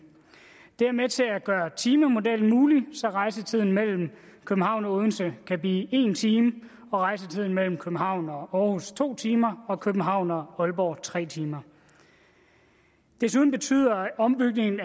det er med til at gøre timemodellen mulig så rejsetiden mellem københavn og odense kan blive en time rejsetiden mellem københavn og århus to timer og mellem københavn og aalborg tre timer desuden betyder ombygningen